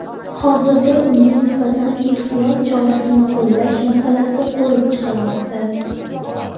Hozirda unga nisbatan ehtiyot chorasini qo‘llash masalasi ko‘rib chiqilmoqda.